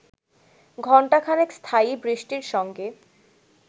ঘণ্টাখানেক স্থায়ী বৃষ্টির সঙ্গে